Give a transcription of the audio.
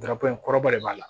kɔrɔba de b'a la